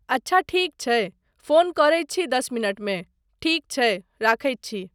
अच्छा ठीक छै, फोन करैत छी दस मिनटमे, ठीक छै, रखैत छी।